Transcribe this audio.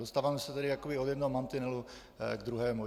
Dostáváme se tady jakoby od jednoho mantinelu k druhému.